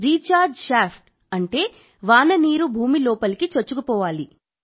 recharge shaft అంటే వాన నీరు భూమి లోపలికి చొచ్చుకుపోవాలి